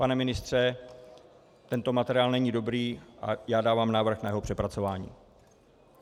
Pane ministře, tento materiál není dobrý a já dávám návrh na jeho přepracování.